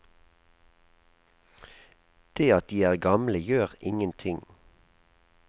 Det at de er gamle gjør ingenting.